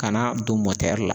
Ka na don la